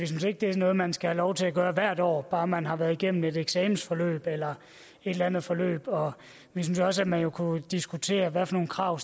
synes ikke det er noget man skal have lov til at gøre hvert år bare man har været igennem et eksamensforløb eller et andet forløb vi synes også man kunne diskutere hvad for nogle krav